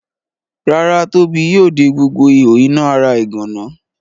Rárá Tóbi yóò de gbogbo ihò iná ara ìgànná.